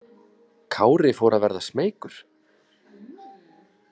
Kári fór að verða smeykur.